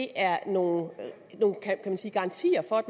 er nogle garantier for at